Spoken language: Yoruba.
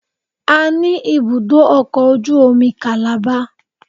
A ní ibùdó ọkọ̀ ojú omi Calabar